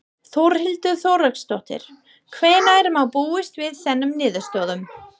Þórhildur Þorkelsdóttir: Hvenær má búast við þessum niðurstöðum?